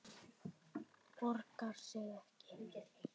Borgar sig ekki?